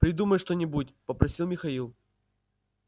придумай что-нибудь попросил михаил